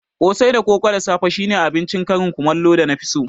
Kosai da koko da safe shine abincin karin kumallo da na fi so